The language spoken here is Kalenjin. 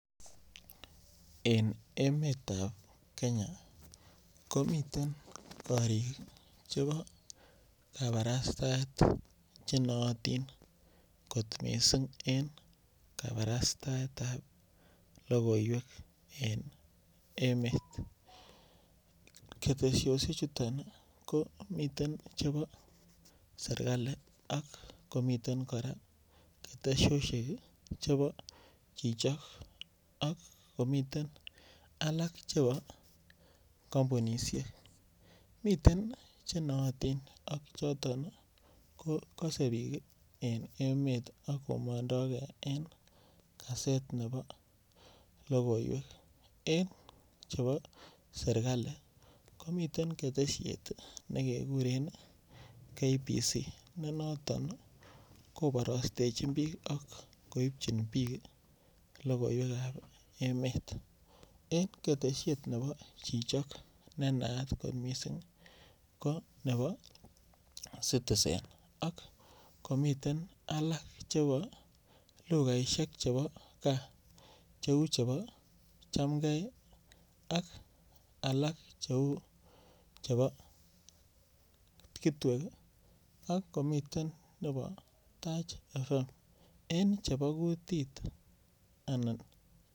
En emetab kenya komiten koriik chebo kabarastaet chenootin kot missing en kabarastaetab lokoiwek en emet, ketesosiechuton ii komiten chebo serikali akomiten kora ketesosiek chebo chii chok, akomiten alak chebo kampunisiek miten chenooting ak choton kose biik en emet akomondoke en kaset nebo logoiwek en chebo serikali komiten ketesiet nekekuren KBC nenoton koborostechin biik ak koipchin biik lokoiwekab emet, En ketesiet nebo chichok nenaat missing ko ne bo Citizen ak komiten alak chebo lukaisiek chebo gaa cheu chepo chemgee, ak alak cheu chebo Kitwek ii, akomiten chepo Taach Fm en chebo kutit anan.